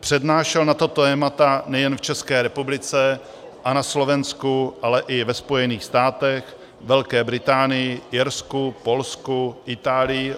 Přednášel na tato témata nejen v České republice a na Slovensku, ale i ve Spojených státech, Velké Británii, Irsku, Polsku, Itálii -